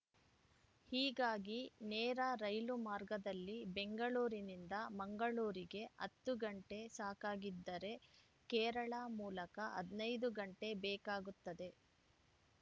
ಹೀಗಾಗಿ ನೇರ ರೈಲು ಮಾರ್ಗದಲ್ಲಿ ಬೆಂಗಳೂರಿನಿಂದ ಮಂಗಳೂರಿಗೆ ಹತ್ತು ಗಂಟೆ ಸಾಕಾಗಿದ್ದರೆ ಕೇರಳ ಮೂಲಕ ಹದಿನೈದು ಗಂಟೆ ಬೇಕಾಗುತ್ತದೆ